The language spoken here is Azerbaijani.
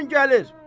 Bu gün gəlir.